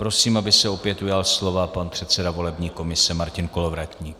Prosím, aby se opět ujal slova pan předseda volební komise Martin Kolovratník.